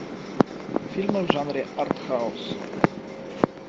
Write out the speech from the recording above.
фильмы в жанре артхаус